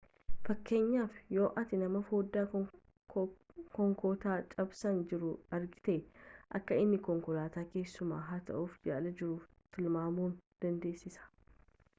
fakkeenyaaf yoo ati nama fodaa konkoataa cabsaa jiruu argiite akka inni konkolataa keessumaa hatuuf yaalaa jiruu tilmaamuu dandeessa